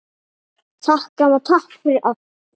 Ég gat ekki játað því.